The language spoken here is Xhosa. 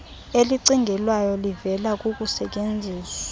elicingelwayo livela kukusetyenziwa